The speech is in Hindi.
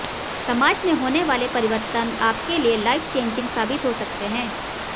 समाज में होने वाले परिवर्तन आपके लिए लाइफ चेंजिंग साबित हो सकते हैं